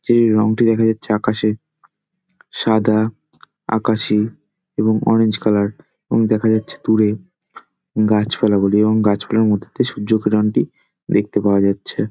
যে রং টি দেখা যাচ্ছে আকাশে সাদা আকাশি এবং অরেঞ্জ কালার | এবং দেখা যাচ্ছে দূরে গাছপালা গুলো এবং গাছপালার মধ্যে থেকে সূর্য কিরণটি দেখতে পাওয়া যাচ্ছে |